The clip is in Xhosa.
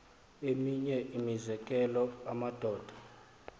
eminye imizekelo amadoda